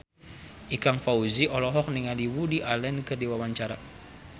Ikang Fawzi olohok ningali Woody Allen keur diwawancara